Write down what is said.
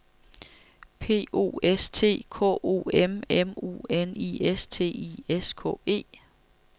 P O S T K O M M U N I S T I S K E